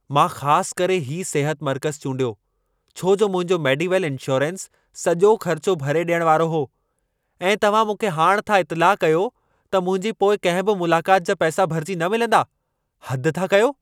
मां ख़ास करे हीउ सिहत मर्क़ज़ चूंडियो छो जो मुंहिंजो मेडीवेल इंशोरेंस सॼो ख़र्चो भरे ॾियण वारो हो। ऐं तव्हां मूंखे हाणि था इतिलाह कयो त मुंहिंजी पोइ कंहिं बि मुलाक़ात जा पैसा भरिजी न मिलंदा। हद था कयो!